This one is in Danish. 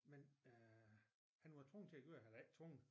Men øh han var tvunget til at gøre det eller ikke tvunget